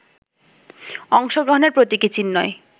অংশগ্রহণের প্রতীকী চিহ্নই